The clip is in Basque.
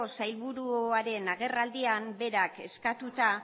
sailburuaren agerraldian berak eskatuta